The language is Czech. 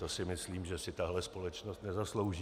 To si myslím, že si tahle společnost nezaslouží.